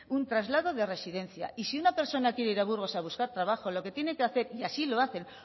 un traslado de residencia y si una persona quiere ir a burgos a buscar trabajo lo que tiene que hacer y así lo hacen